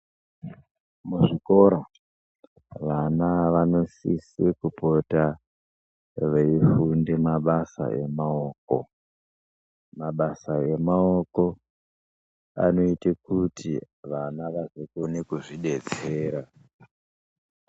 Muzvikora vana vanosise kupota veifunda mabasa emaoko. Mabasa emaoko anoita kuti vana vazokone kuzvidetsera.